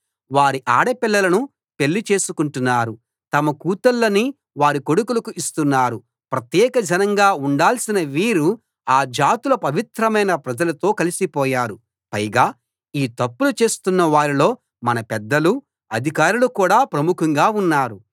వారి ఆడపిల్లలను పెళ్లి చేసుకొంటున్నారు తమ కూతుళ్ళని వారి కొడుకులకు ఇస్తున్నారు ప్రత్యేక జనంగా ఉండాల్సిన వీరు ఆ జాతుల పవిత్రమైన ప్రజలతో కలిసిపోయారు పైగా ఈ తప్పులు చేస్తున్న వారిలో మన పెద్దలు అధికారులు కూడా ప్రముఖంగా ఉన్నారు